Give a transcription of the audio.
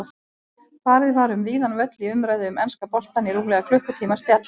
Farið var um víðan völl í umræðu um enska boltann í rúmlega klukkutíma spjalli.